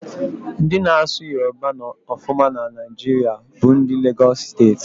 Ndị na-asụ Yoroba ọfụma na Naijiria bụ ndị Legosị Steeti.